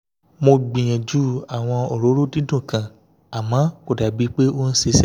mo gbìyànjú àwọn òróró dídùn kan àmọ́ kò dà bíi pé ó ń ṣiṣẹ́